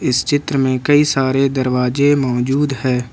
इस चित्र में कई सारे दरवाजे मौजूद हैं।